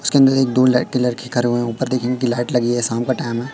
उसके अंदर एक दो लाइट कलर के घर में ऊपर देखने लाइट लगी है शाम का टाइम है।